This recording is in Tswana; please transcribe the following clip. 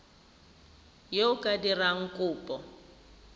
yo o ka dirang kopo